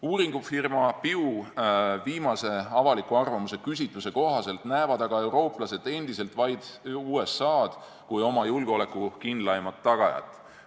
Uuringufirma Pew viimase avaliku arvamuse küsitluse kohaselt näevad aga eurooplased endiselt vaid USA-d oma julgeoleku kindlaima tagajana.